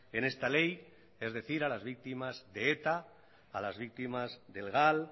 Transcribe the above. en esta ley es decir a las víctimas de eta a las víctimas del gal